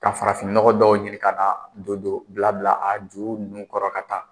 Ka farafinɔgɔ dɔw ɲini ka na don don bila bila a ju nunnu kɔrɔ ka taa